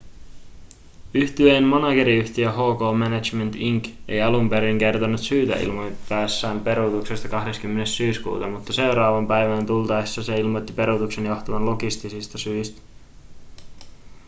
yhtyeen manageriyhtiö hk management inc ei alun perin kertonut syytä ilmoittaessaan peruutuksesta 20 syyskuuta mutta seuraavaan päivään tultaessa se ilmoitti peruutuksen johtuvan logistisista syistä